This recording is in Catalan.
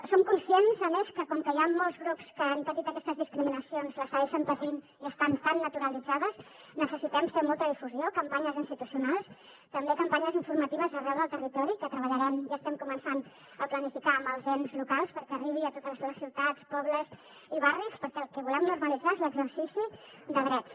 som conscients a més que com que hi han molts grups que han patit aquestes discriminacions les segueixen patint i estan tan naturalitzades necessitem fer molta difusió campanyes institucionals també campanyes informatives arreu del territori que treballarem i estem començant a planificar amb els ens locals perquè arribi a totes les ciutats pobles i barris perquè el que volem normalitzar és l’exercici de drets